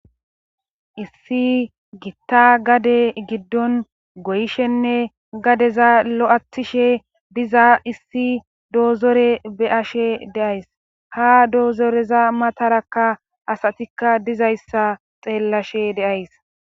issi gitta gade giddon goyishenne gadeza lo7atishe diza issi doozore beyashe deays ha doozoreza matarakka asatikka dizayssa xeellashe deays